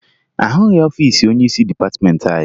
Ahụghị ọfiisi onyeisi dịpatịmeentị anyị